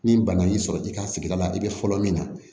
Ni bana y'i sɔrɔ i ka sigida la i bɛ fɔlɔ min na